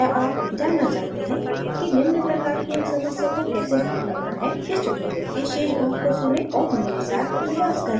क्या आप जानना चाहते हैं कि निम्न प्रकार की एक समस्या को कैसे हल करना है: इस tutorial के शेष भाग को सुनें और मेरे साथ अभ्यास करें